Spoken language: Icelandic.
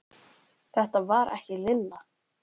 Þetta var ekki Lilla.